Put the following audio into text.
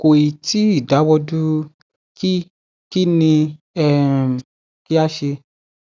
kò ì tí ì dáwọ dúró kí kí ni um kí a ṣe